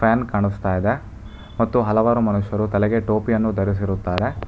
ಕಾಣಸ್ತಾ ಇದೆ ಮತ್ತು ಹಲವಾರು ಮನುಷ್ಯರು ತಲೆಗೆ ಟೋಪಿಯನ್ನು ಧರಿಸಿರುತ್ತಾರೆ.